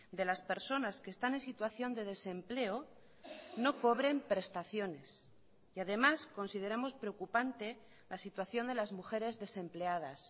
de las personas que están en situación de desempleo no cobren prestaciones y además consideramos preocupante la situación de las mujeres desempleadas